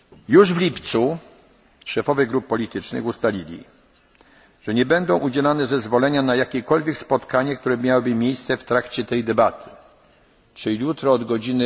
tego rodzaju. Już w lipcu szefowie grup politycznych ustalili, że nie będą udzielane zezwolenia na jakiekolwiek spotkanie, które miałoby mieć miejsce w trakcie tej debaty, czyli